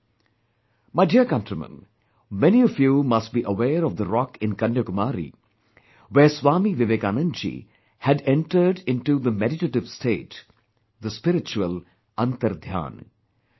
My dear countrymen, many of you must be aware of the rock in Kanyakumari where Swami Vivekanand ji had entered into the meditative state, the spiritual 'Antardhyan'